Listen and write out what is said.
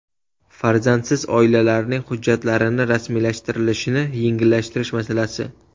Farzandsiz oilalarning hujjatlarini rasmiylashtirilishini yengillashtirish masalasi.